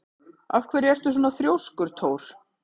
Af hverju ertu svona þrjóskur, Thór?